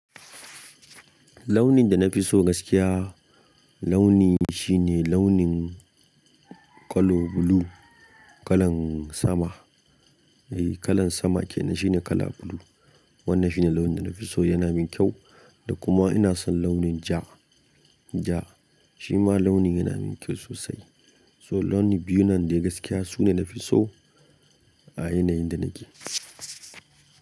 Launin da na fi so gaskiya, launi shine launin ƙalo blue, kalan sama. Eh, kalan sama kenan shine kala blue. Wannan shine launin da na fi so, yana min kyau da kuma ina son launin ja, ja shi ma launi yana min kyau sosai. So launi biyu nan dai gaskiya su ne na fi so a yanayin da nake.